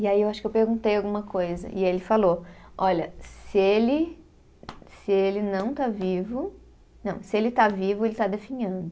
E aí eu acho que eu perguntei alguma coisa e ele falou, olha, se ele se ele não está vivo. Não, se ele está vivo, ele está definhando.